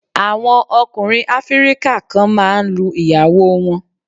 Àwọn ọkùnrin áfíríkà kan máa ń lu ìyàwó wọn.